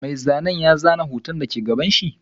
Mai zanen ya zana hoton da ke gabanshi.